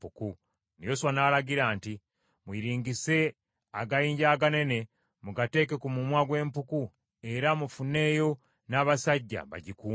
Yoswa n’alagira nti, “Muyiringise agayinja aganene mugateeke ku mumwa gw’empuku era mufuneeyo n’abasajja bagikuume;